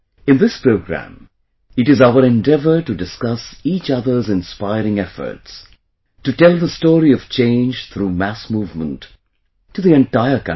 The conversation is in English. In this program, it is our endeavour to discuss each other's inspiring efforts; to tell the story of change through mass movement to the entire country